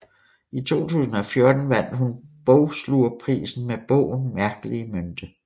I 2014 vandt hun Bogslugerprisen med bogen Mærkelige Mynthe